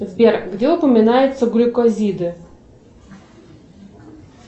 сбер где упоминаются глюкозиды